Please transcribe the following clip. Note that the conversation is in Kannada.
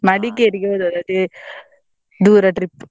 ಹೋದದ್ದು ಅದೇ ದೂರ trip .